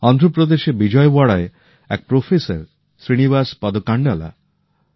অন্ধ্রপ্রদেশের বিজয়ওয়াড়ায় এক প্রফেসর শ্রীনিবাস পদকান্ডালা